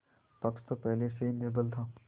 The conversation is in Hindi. पक्ष तो पहले से ही निर्बल था